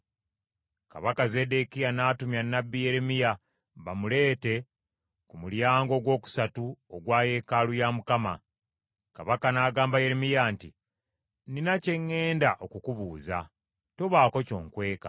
Kabaka Zeddekiya n’atumya nnabbi Yeremiya bamuleete ku mulyango ogwokusatu ogwa yeekaalu ya Mukama . Kabaka n’agamba Yeremiya nti, “Nnina kye ŋŋenda okukubuuza. Tobaako ky’onkweka.”